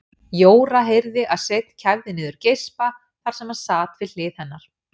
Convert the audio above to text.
Jóra heyrði að Sveinn kæfði niður geispa þar sem hann sat við hlið hennar.